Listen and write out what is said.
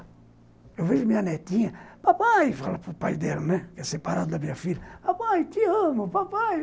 Eu vejo minha netinha, papai, fala para o pai dela, né, que é separado da minha filha, papai, te amo, papai.